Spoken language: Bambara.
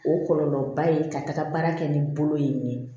O kɔlɔlɔba ye ka taga baara kɛ ni bolo ye